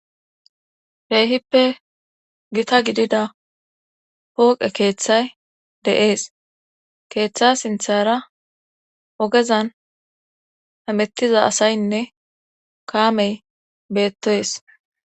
Keehippe gita gidida pooqe keeththay de'ees keeththa sinthara ogezan hamettiza asaynne kaamey beettoyes.